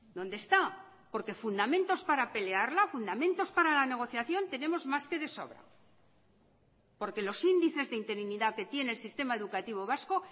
dónde está porque fundamentos para pelearla fundamentos para la negociación tenemos más que de sobra porque los índices de interinidad que tiene el sistema educativo vasco